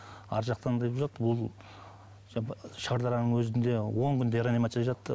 арғы жақтан бұл шардараның өзінде он күндей реанимацияда жатты